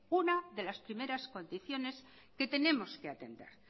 una de las primera condiciones que tenemos que atender